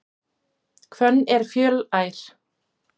Hvönn er fjölær.